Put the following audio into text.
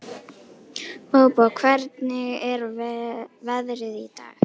Bóbó, hvernig er veðrið í dag?